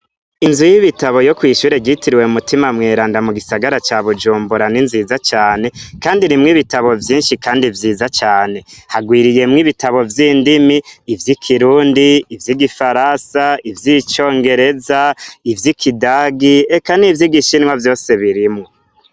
Inzu y'ibitabo yo kw'ishure ryitiriwe mu mutima mweranda mu gisagara ca bujumborani nziza cane, kandi rimwo ibitabo vyinshi, kandi vyiza cane hagwiriyemwo ibitabo vy'indimi ivyo i kirundi ivyo igifarasa ivyo icongereza ivyo i kidagi eka n' ivyo igishinwa vyose birimwo.